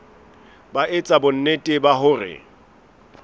ba etsa bonnete ba hore